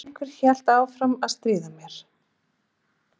En einhver heldur áfram að stríða mér